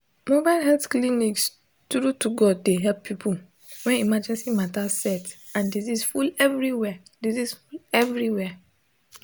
mobile health clinics true to god dey help people when emergency matter set and disease full everywhere disease full everywhere